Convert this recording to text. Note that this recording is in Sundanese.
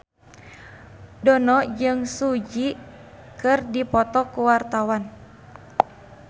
Dono jeung Bae Su Ji keur dipoto ku wartawan